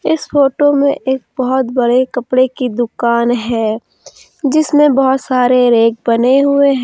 इस फोटो में एक बहुत बड़े कपड़े की दुकान है जिसमें बहुत सारे रैक बने हुए हैं।